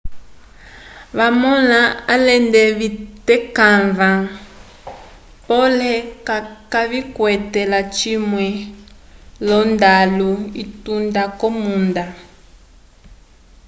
vamõla alende vitekãva pole kayikwete lacimwe l'ondalu itunda k'omunda